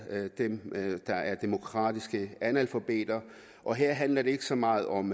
dem der er demokratiske analfabeter og her handler det ikke så meget om